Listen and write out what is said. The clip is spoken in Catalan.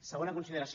segona consideració